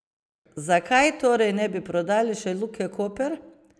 Zakaj torej ne bi prodali še Luke Koper?